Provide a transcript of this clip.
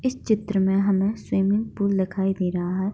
इस चित्र में हमें स्विमिंग पूल दिखाई दे रहा है।